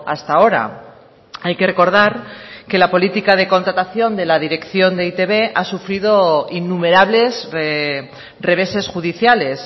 hasta ahora hay que recordar que la política de contratación de la dirección de e i te be ha sufrido innumerables reveses judiciales